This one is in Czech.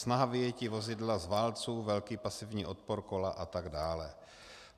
Snaha vyjetí vozidla z válců velký pasivní odpor kola atd.